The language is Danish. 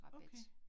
Okay